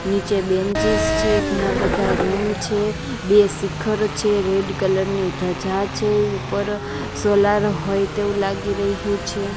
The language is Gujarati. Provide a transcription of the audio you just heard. નીચે બેન્સિસ છે ઘણા બધા રૂમ છે બે સિખર છે રેડ કલર ની ધજા છે ઉપર સોલાર હોય તેવુ લાગી રહ્યુ છે.